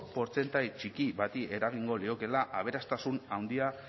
portzentai txiki bati eragingo liokeela aberastasun handia